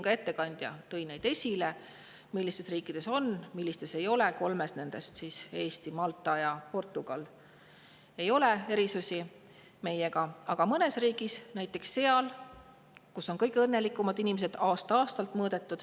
Ka ettekandja tõi siin esile, millistes riikides on, millistes ei ole, kolmes neist – Eestis, Maltas ja Portugalis – ei ole meiega võrreldes erisusi, aga mõnes riigis on, näiteks seal, kus on kõige õnnelikumad inimesed ja kus seda on aasta-aastalt mõõdetud.